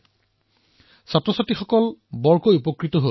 ইয়াৰ দ্বাৰা তেওঁৰ শিক্ষাৰ্থীসকল যথেষ্ট উপকৃত হল